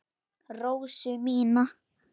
Rósu mína.